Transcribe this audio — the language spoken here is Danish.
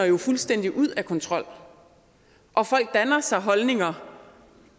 jo fuldstændig ud af kontrol og folk danner sig holdninger